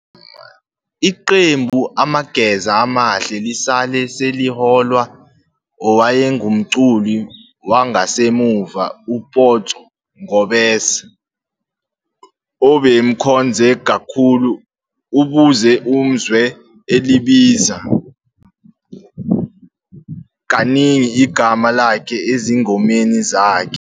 Iqembu amageza amahle lisale seliholwa owayengumculi wangasemuva uPotso ngobese obemkhonze kakhulu, ubuze umzwe elibiza kaningi igama lakhe ezingomeni zakhe.